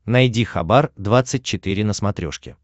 найди хабар двадцать четыре на смотрешке